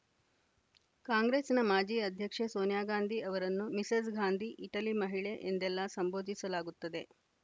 ಕಾಂಗ್ರೆಸ್ಸಿನ ಮಾಜಿ ಅಧ್ಯಕ್ಷೆ ಸೋನಿಯಾ ಗಾಂಧಿ ಅವರನ್ನು ಮಿಸೆಸ್‌ ಗಾಂಧಿ ಇಟಲಿ ಮಹಿಳೆ ಎಂದೆಲ್ಲಾ ಸಂಬೋಧಿಸಲಾಗುತ್ತದೆ